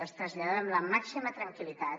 els traslladem la màxima tranquil·litat